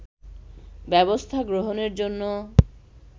ব্যবস্থা গ্রহণের জন্য